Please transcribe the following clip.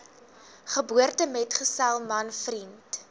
geboortemetgesel man vriend